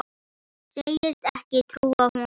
Segist ekki trúa honum.